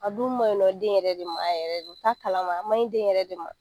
A dun ma ɲinɔ den yɛrɛ de ma a yɛrɛ de t'a kalama ma a ma ɲi den yɛrɛ de ma.